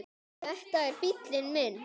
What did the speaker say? Þetta er bíllinn minn